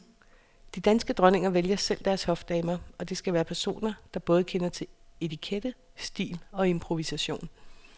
De danske dronninger vælger selv deres hofdamer, og det skal være personer, der både kender til etikette, stil og improvisation.